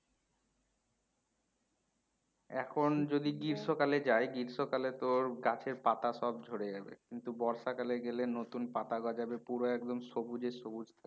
এখন যদি গ্রীষ্মকালে যাই গ্রীষ্মকালে তোর গাছের পাতা সব ঝরে যাবে কিন্তু বর্ষাকালে গেলে নতুন পাতা গজাবে পুরো একদম সবুজে সবুজ